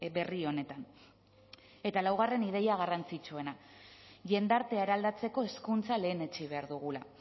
berri honetan eta laugarren ideia garrantzitsuena jendartea eraldatzeko hezkuntza lehenetsi behar dugula